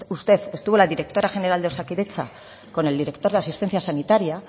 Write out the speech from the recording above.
usted estuvo la directora general de osakidetza con el director de asistencia sanitaria